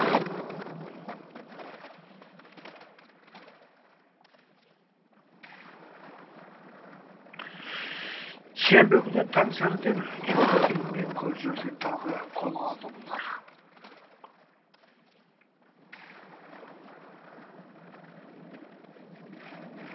сенбі күні таң сәріден жұқа киім мен көр жерді тағы қолға алды бұлар